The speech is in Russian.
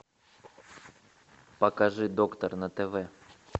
покажи доктор на тв